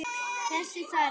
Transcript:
Þess þarf ekki.